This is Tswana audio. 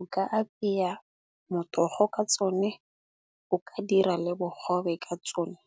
o ka apeya motogo ka tsone, o ka dira le bogobe ka tsone.